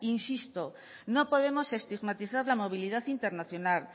insisto no podemos estigmatizar la movilidad internacional